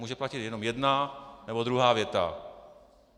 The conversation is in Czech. Může platit jenom jedna, nebo druhá věta.